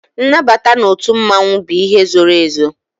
Nnabata n'otu mmanwu bụ ihe zoro ezo